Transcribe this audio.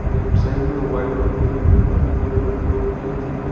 left side में white और पीले रंग के काफी बोर रखे हुए है जिनमे--